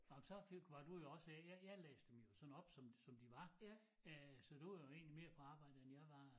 Nå men så fik var du jo også øh jeg jeg læste dem jo sådan op som som de var øh så du var jo egentlig mere på arbejde end jeg var